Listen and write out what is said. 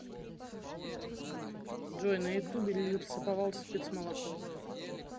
джой на ютубе лесоповал спецмолоко